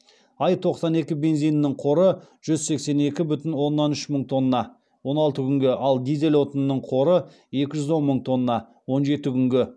аи тоқсан екі бензинінің қоры жүз сексен екі бүтін оннан үш мың тонна ал дизель отынының қоры екі жүз он мың тонна